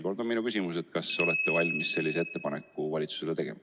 Küsin veel kord, kas olete valmis sellise ettepaneku valitsusele tegema.